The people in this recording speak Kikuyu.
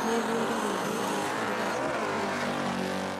Nĩthũire rwĩmbo rũu Ndũgacooke kũrũthaka rĩngĩ.